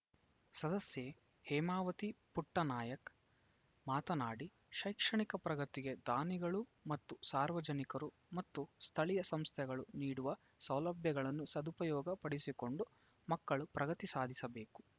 ಸದಸ್ಯೆ ಹೇಮಾವತಿ ಪುಟ್ಟನಾಯ್ಕ ಮಾತನಾಡಿ ಶೈಕ್ಷಣಿಕ ಪ್ರಗತಿಗೆ ದಾನಿಗಳು ಮತ್ತು ಸಾರ್ವಜನಿಕರು ಮತ್ತು ಸ್ಥಳೀಯ ಸಂಸ್ಥೆಗಳು ನೀಡುವ ಸೌಲಭ್ಯಗಳನ್ನು ಸದುಪಯೋಗ ಪಡಿಸಿಕೊಂಡು ಮಕ್ಕಳು ಪ್ರಗತಿ ಸಾಧಿಸಬೇಕು